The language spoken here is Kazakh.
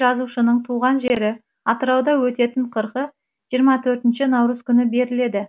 жазушының туған жері атырауда өтетін қырқы жиырма төртінші наурыз күні беріледі